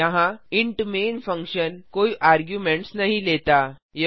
यहाँ int main function कोई arguments argument नहीं लेता